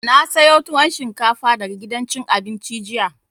Na sayo tuwon shinkafa daga gidan cin abinci jiya